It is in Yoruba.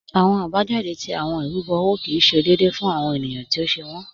Awọn abajáde tí awọn irúbo owó kí ì ṣé déèdé fún awọn ènìyàn tí ó ṣè wọn.